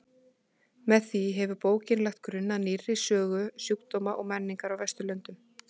Með því hefur bókin lagt grunn að nýrri sögu sjúkdóma og menningar á Vesturlöndum.